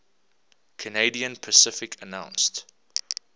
canadian pacific announced